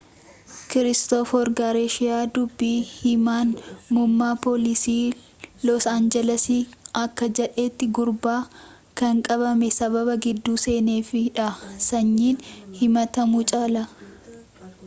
kiristoofer garshiyaa dubbi himaan muummaa poolisii loos aanjiles akka jedhetii gurbaan kan qabamee sababa gidduu seeneef dha sanyiin himaatamuu caalaa